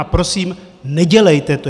A prosím, nedělejte to!